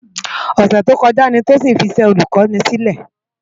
Òsè tókòjá ni Tosin fi iṣè Ólùkòni silè